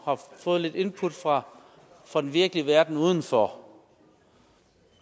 fået lidt input fra fra den virkelige verden udenfor